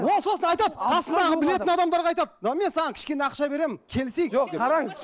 ол сосын айтады қасындағы білетін адамдарға айтады давай мен саған кішкене ақша беремін келісейік жоқ қараңыз